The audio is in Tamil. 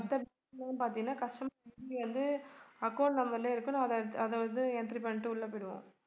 மத்த bank லாம் பாத்தீங்கன்னா customer ID வந்து account number லயே இருக்கும் நான் அத~ அத வந்து entry பணணிட்டு உள்ள போயிடுவோம்